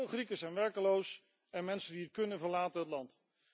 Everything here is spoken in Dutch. Veel Grieken zijn werkloos en mensen die het kunnen, verlaten het land.